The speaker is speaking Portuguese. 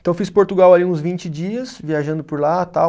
Então eu fiz Portugal ali uns vinte dias, viajando por lá tal.